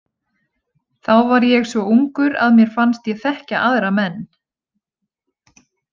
Þá var ég svo ungur að mér fannst ég þekkja aðra menn.